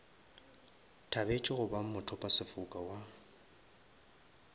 thabetše go ba mothopasefoka wa